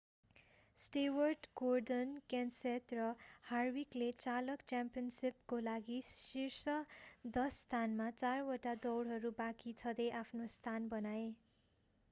Stewart Gordon Kenseth र हार्विकले चालक च्याम्पियनसिपको लागि शीर्ष दश स्थानमा चारवटा दौडहरू बाँकी छँदै आफ्नो स्थान बनाए